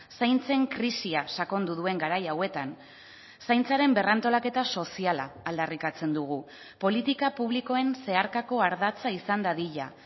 zaintzen krisia sakondu duen garai hauetan zaintzaren berrantolaketa soziala aldarrikatzen dugu politika publikoen zeharkako ardatza izan dadila